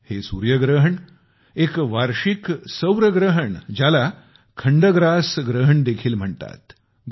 हे सूर्यग्रहण एक वार्षिक सूर्यग्रहण ज्याला खंडग्रास ग्रहण देखील म्हणतात